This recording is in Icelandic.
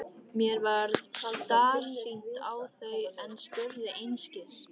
Mér varð starsýnt á þau en spurði einskis.